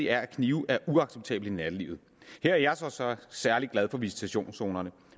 er at knive er uacceptable i nattelivet her er jeg så så særlig glad for visitationszonerne